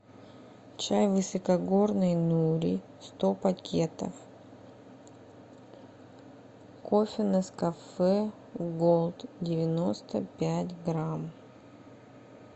чай высокогорный нури сто пакетов кофе нескафе голд девяносто пять грамм